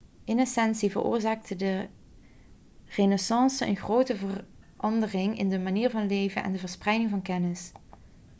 in essentie veroorzaakte de renaissance een grote verandering in de manier van leren en de verspreiding van kennis